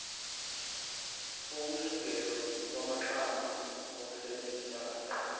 kokusungulwa kwamaxhama okusebenzisana